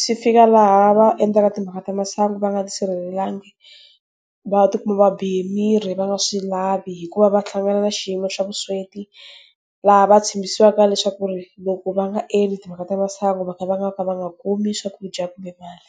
Swi fika laha va endla timhaka ta masangu va nga tisirhelelanga. Va ti kuma va bihe mirhi va nga swi lavi hikuva va hlangana na xiyimo xa vusweti. Laha va tshambisiwaka leswaku ku ri, loko va nga endli timhaka ta masangu va ka va nga ka va nga kumi swakudya kumbe mali.